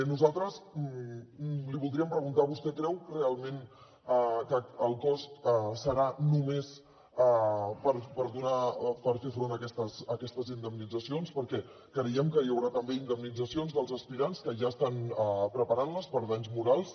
nosaltres li voldríem preguntar vostè creu realment que el cost serà només per fer front a aquestes indemnitzacions perquè creiem que hi haurà també indemnitzacions dels aspirants que ja estan preparant les per danys morals